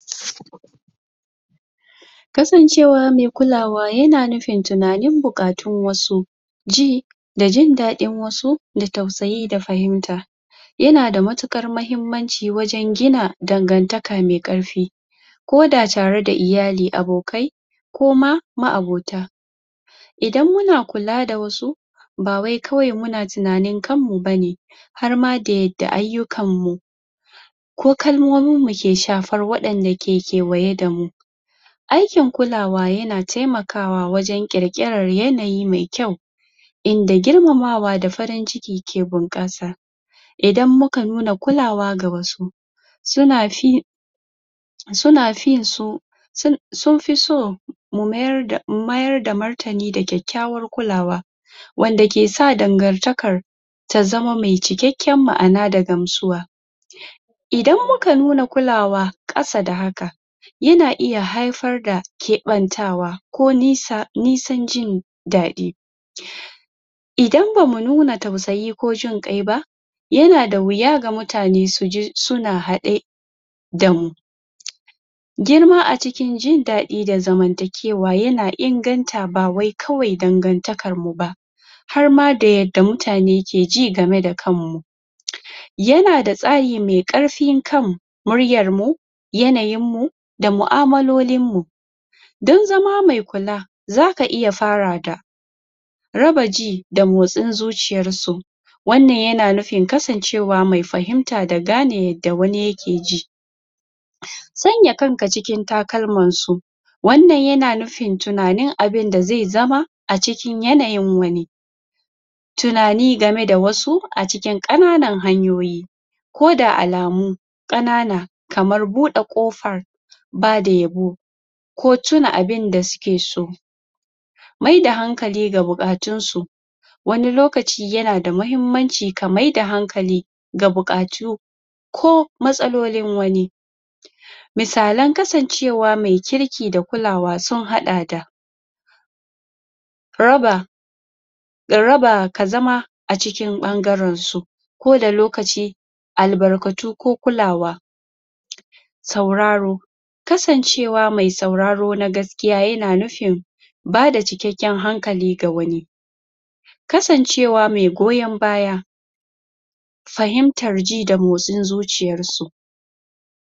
Kasancewa mai, kulawa Yana nufin tunanin bukatun wasu Ji, Da jin dadin wasu Da tausayi da fahimta Yana da matukar mahimmanci wajen gina Dangantaka mai ƙarfi Koda tare da iyali, abokai Koma Ma'abota Idan muna kula da wasu Ba wai kawai muna tunanin kanmu bane Harma da yadda ayukanmu Ko kalmomin muke shafar waɗanda ke kewaye damu. Aikin kulawa yana taimakawa wajen kirkiran yanayi mai kwau, Inda girmamawa da farin ciki ke bunƙasa Idan muka nuna kulawa ga wasu Suna fi Suna finsu Sun, Sunfi so Mu mayarda Mu mayarda martani da kyakkyawa kulawa Wanda kesa dangantakar Ta zama mai cikekken ma'ana da gamsuwa Idan muka nuna kulawa ƙasa da haka Yana iya haifar da Keɓantawa Nisan jin Dadi Idan bamu nuna tausayi ko ginƙai ba Yana da wuya ga mutane suje suna haɗe Damu Girma a cikin jin dadi da, zamantakewa yana inganta ba wai kawai dangantakar muba Harma da yadda mutane keji game da kanmu Yana da tsahi mai karfin kan Muryar mu Yana yin mu Da mu'amalolin mu Don zama mai kula Zaka iya fara da Raba ji Da motsin zuciyar su Wannan yana nufin kasancewa mai fahimta da gane yadda wani yake ji Sanya kanka cikin takalmansu Wannan yana nufin tunanin abunda zai zama A cikin yanayin wani. Tunani game da wasu a cikin ƙananan hanyoyi Ko da alamu ƙanana Kamar bude ƙofar Bada yabo Ko tuna abinda suke so Maida hankali ga buƙatun su Wani lokaci yanada mahimmanci ka maida hankali Ga buƙatu Ko! Matsalolin wani. Misalen kasancewa mai kirki da kulawa sun hada da, (???) ka zama A cikin ɓangaren su koda lokaci Albarkatu ko kulawa Sauraro Kasancewa mai sauraro na gaskiya yana nufin Bada cikakken hankali ga wani Kasancewa mai gowon baya Fahimtar ji da motsin zuciyar su